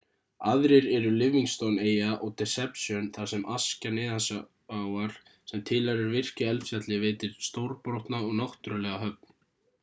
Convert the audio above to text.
aðrir eru livingston-eyja og deception þar sem askja neðansjávar sem tilheyrir virku eldfjalli veitir stórbrotna og náttúrulega höfn